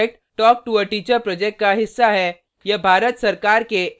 spoken tutorial project talk to a teacher project का हिस्सा है